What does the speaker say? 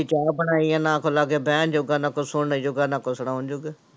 ਚਾਹ ਬਣਾਈਏ ਨਾ ਕੋਈ ਲਾਗੇ ਬਹਿਣ ਜੋਗਾ, ਨਾ ਕੁਛ ਸੁਣਨ ਜੋਗਾ, ਨਾ ਕੁਛ ਸੁਣਾਉਣ ਜੋਗਾ।